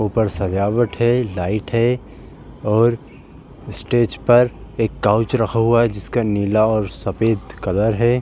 ऊपर सजावट है लाइट है और स्टेज पर एक काउच रखा हुआ है जिसका नीला और सफेद कलर है।